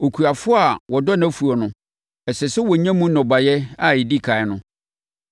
Okuafoɔ a wadɔ nʼafuo no, ɛsɛ sɛ ɔnya mu nnɔbaeɛ a ɛdi ɛkan no.